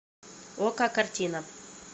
окко картина